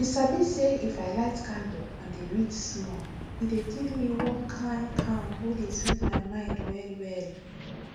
you sabi say if i light candle and dey read small e dey give me one kind calm wey dey sweet my mind well well